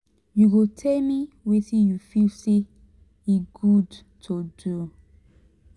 you go tell me wetin you feel say e good to do?